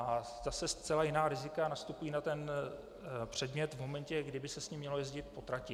A zase zcela jiná rizika nastupují na ten předmět v momentě, kdy by se s ním mělo jezdit po trati.